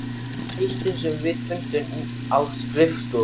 lykt sem við fundum inni á skrifstofu.